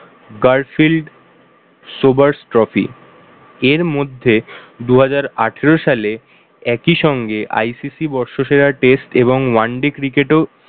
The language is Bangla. garfield sobers trophy এর মধ্যে দুহাজার আঠারো সালে একইসঙ্গে ICC বর্ষসেরা test এবং one day cricket এও